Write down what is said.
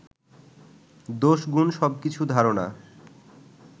দোষগুণ সবকিছু ধারনা